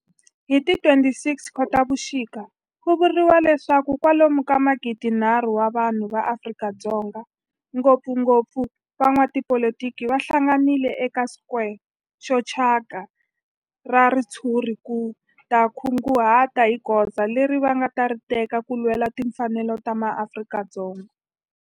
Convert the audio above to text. Hi ti 26 Khotavuxika ku vuriwa leswaku kwalomu ka magidi-nharhu wa vanhu va Afrika-Dzonga, ngopfungopfu van'watipolitiki va hlanganile eka square xo thyaka xa ritshuri ku ta kunguhata hi goza leri va nga ta ri teka ku lwela timfanelo ta maAfrika-Dzonga.